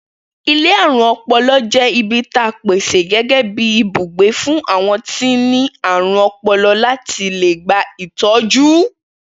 Ilé àrùn o̩po̩lo̩ jé̩ ibi ta pèsè gé̩gé̩ bí ibùgbé fún àwo̩n tó ní àrùn o̩po̩lo̩ láti lè gba ìtọ́jú